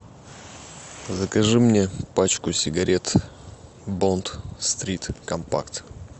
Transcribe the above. закажи мне пачку сигарет бонд стрит компакт